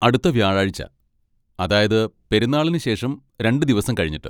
അടുത്ത വ്യാഴാഴ്ച, അതായത് പെരുന്നാളിന് ശേഷം രണ്ട് ദിവസം കഴിഞ്ഞിട്ട്.